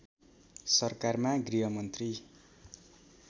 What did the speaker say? सरकारमा गृहमन्त्री